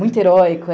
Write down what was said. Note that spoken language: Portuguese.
Muito heróico.